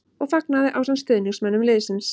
. og fagnaði ásamt stuðningsmönnum liðsins.